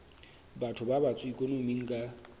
batho ba batsho ikonoming ka